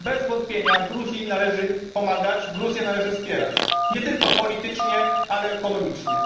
Bez wątpienia Gruzji należy pomagać, Gruzję należy wspierać, nie tylko politycznie, ale ekonomicznie.